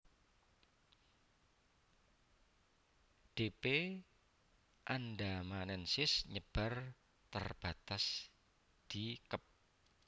D p andamanensis nyebar terbatas di Kep